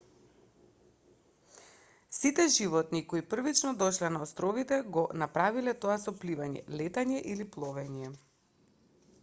сите животни кои првично дошле на островите го направиле тоа со пливање летање или пловење